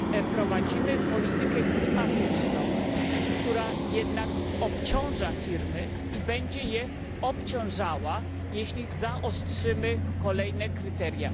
Prowadzimy politykę klimatyczną, która jednak obciąża firmy i będzie je obciążała, jeśli zaostrzymy kolejne kryteria.